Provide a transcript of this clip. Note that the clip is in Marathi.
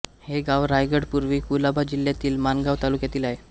हे गाव रायगड पूर्वी कुलाबा जिल्ह्यातील माणगांव तालुक्यात आहे